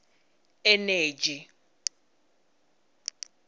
eneji